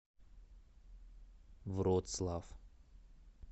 вроцлав